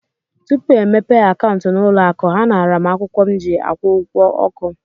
Tupu e mepee akaụntụ n'ụlọ akụ, ha naara m akwụkwọ m ji akwụ ụgwọ ọkụ.